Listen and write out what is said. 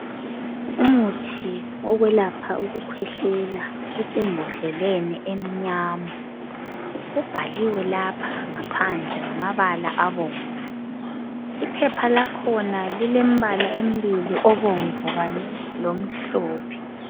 Umuthi wokwelapha ukukhwehlela usembodleleni emnyama. Ubhaliwe lapha ngaphandle ngamabala abomvu. Iphepha lakhaona lilembala embili obomvu Kanye lomhlophe